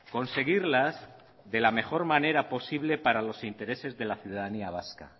conseguirlas de la mejor manera posible para los intereses de la ciudadanía vasca